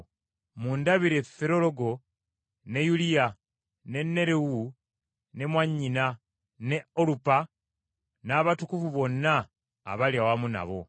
Mundabire Firologo ne Yuliya, ne Nerewu ne mwannyina, ne Olumpa n’abatukuvu bonna abali awamu nabo.